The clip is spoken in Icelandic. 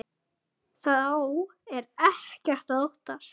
Þá er ekkert að óttast.